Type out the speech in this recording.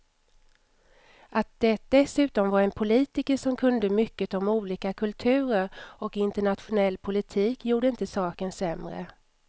Att det dessutom var en politiker som kunde mycket om olika kulturer och internationell politik gjorde inte saken sämre.